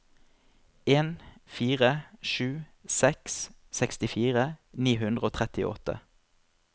en fire sju seks sekstifire ni hundre og trettiåtte